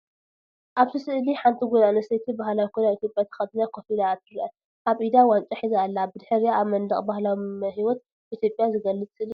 ኣብቲ ስእሊ ሓንቲ ጓል ኣንስተይቲ ባህላዊ ክዳን ኢትዮጵያ ተኸዲና ኮፍ ኢላ ትርአ። ኣብ ኢዳ ዋንጫ ሒዛ ኣላ። ብድሕሪኣ ኣብ መንደቕ ባህላዊ ህይወት ኢትዮጵያ ዝገልጽ ስእሊ ኣሎ።